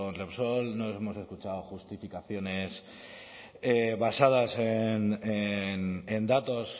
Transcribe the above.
repsol no hemos escuchado justificaciones basadas en datos